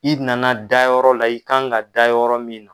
I nana dayɔrɔ la, i kan ka da yɔrɔ min na